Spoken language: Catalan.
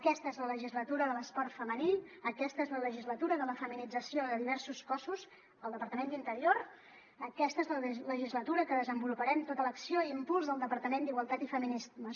aquesta és la legislatura de l’esport femení aquesta és la legislatura de la feminització de diversos cossos al departament d’interior aquesta és la legislatura que desenvoluparem tota l’acció i impuls del departament d’igualtat i feminismes